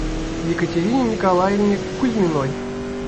екатерине николаевне кузьминой